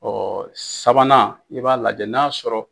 sabanan i b'a lajɛ n'a sɔrɔ.